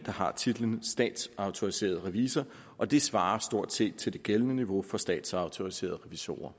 har titlen statsautoriseret revisor og det svarer stort set til det gældende niveau for statsautoriserede revisorer